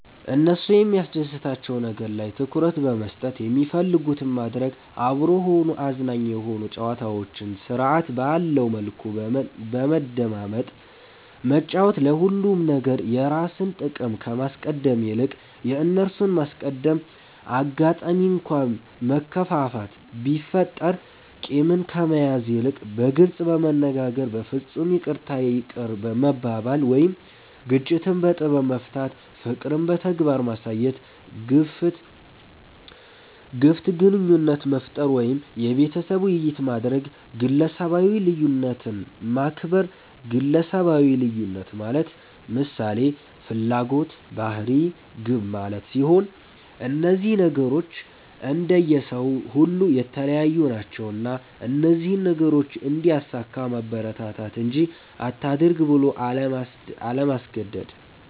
እነሱ የሚያስደስታቸዉ ነገር ላይ ትኩረት በመስጠት የሚፈልጉትን ማድረግ፤ አብሮ ሆኖ አዝናኝ የሆኑ ጨዋታዎችን ስርዐት ባለዉ መልኩ በመደማመጥ መጫወት፤ ለሁሉም ነገር የራስን ጥቅም ከማስቀደም ይልቅ የእነርሱን ማስቀደም፣ አጋጣሚ እንኳ መከፋፋት ቢፈጠር ቂምን ከመያዝ ይልቅ በግልጽ በመነጋገር በፍፁም ይቅርታ ይቅር መባባል ወይም ግጭትን በጥበብ መፍታት፣ ፍቅርን በተግባር ማሳየት፣ ግፍት ግንኙነት መፍጠር ወይም የቤተሰብ ዉይይት ማድረግ፣ ግለሰባዊ ልዩነትን ማክበር ግለሰባዊ ልዩነት ማለት ምሳሌ፦ ፍላጎት፣ ባህሪ፣ ግብ ማለት ሲሆን እነዚህ ነገሮች እንደየ ሰዉ ሁሉ የተለያዩ ናቸዉና እነዚህን ነገሮች እንዲያሳካ ማበረታታት እንጂ አታድርግ ብሎ አለማስገደድ።